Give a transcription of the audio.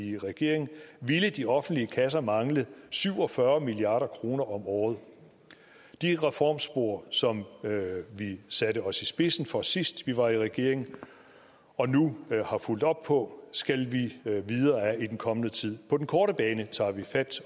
i regering ville de offentlige kasser mangle syv og fyrre milliard kroner om året de reformspor som vi satte os i spidsen for sidst vi var i regering og nu har fulgt op på skal vi videre ad i den kommende tid på den korte bane tager vi fat